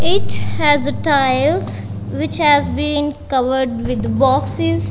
each has a tiles which has been covered with boxes.